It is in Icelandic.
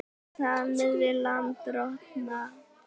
Samið við lánardrottna